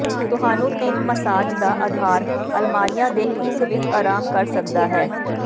ਤੁਹਾਨੂੰ ਤਿੰਨ ਮਸਾਜ ਦਾ ਅਧਾਰ ਅਲਮਾਰੀਆ ਦੇ ਇੱਕ ਵਿੱਚ ਆਰਾਮ ਕਰ ਸਕਦਾ ਹੈ